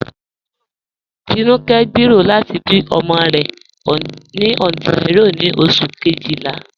Tinúkẹ̀ ǹ gbéero lati bí ọmọ rẹ̀ ni Ontario ni Oṣù̀ kejìlá.